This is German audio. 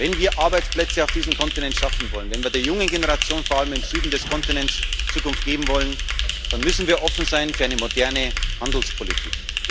Wenn wir Arbeitsplätze auf diesem Kontinent schaffen wollen, wenn wir der jungen Generation, vor allem im Süden des Kontinents, eine Zukunft geben wollen, dann müssen wir offen sein für eine moderne Handelspolitik.